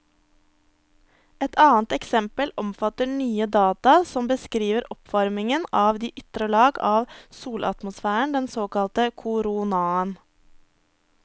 Et annet eksempel omfatter nye data som beskriver oppvarmingen av de ytre lag av solatmosfæren, den såkalte koronaen.